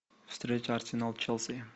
встреча арсенал челси